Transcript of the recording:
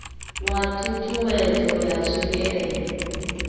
wa ṱhu ṱhuwedzo ya tswikelelo